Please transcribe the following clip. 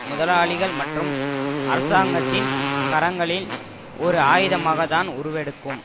முதலாளிகள் மற்றும் அரசாங்கத்தின் கரங்களில் ஒரு ஆயுதமாகத் தான் உருவெடுக்கும்